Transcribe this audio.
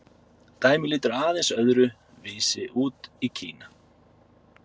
dæmið lítur aðeins öðru vísi út í kína